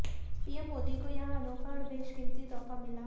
PM Modi को यहां अनोखा और बेशकीमती तोहफा मिला